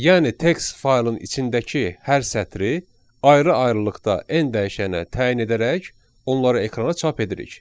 yəni text faylın içindəki hər sətri ayrı-ayrılıqda n dəyişənə təyin edərək onları ekrana çap edirik.